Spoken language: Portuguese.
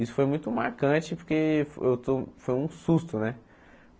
Isso foi muito marcante, porque eu to foi um susto, né?